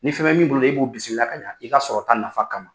Ni fɛn mɛ min bolo e b'u bisimila ka yan i ka sɔrɔta nafa kama.